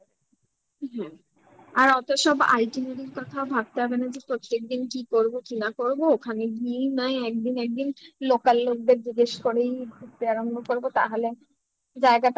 হুম আর অত সব ultimately কথা ভাবতে হবে না যে প্রত্যেকদিন কি করবো কি না করবো ওখানে গিয়েই না একদিন একদিন local লোকদের জিজ্ঞেস করেই ঘুরতে আরম্ভ করবো তাহলে জায়গাটা